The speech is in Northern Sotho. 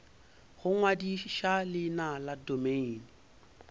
go ngwadiša leina la domeine